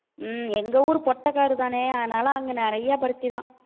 ஹம் எங்க ஊர் பொட்டக்காடுதானே அதனால அங்க நிறைய பருத்திதான்